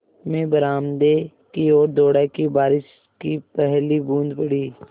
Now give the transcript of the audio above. मैं बरामदे की ओर दौड़ा कि बारिश की पहली बूँद पड़ी